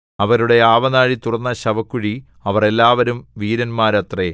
അവരുടെ ആവനാഴി തുറന്ന ശവക്കുഴി അവർ എല്ലാവരും വീരന്മാരത്രേ